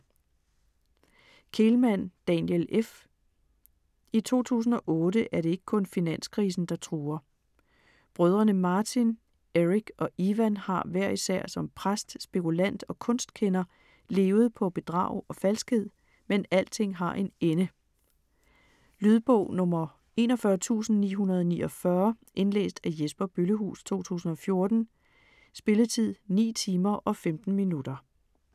Kehlmann, Daniel: F I 2008 er det ikke kun finanskrisen, der truer. Brødrene Martin, Eric og Iwan har hver især som præst, spekulant og kunstkender levet på bedrag og falskhed, men alting har en ende. Lydbog 41949 Indlæst af Jesper Bøllehuus, 2014. Spilletid: 9 timer, 15 minutter.